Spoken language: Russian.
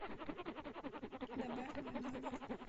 добавь мой номер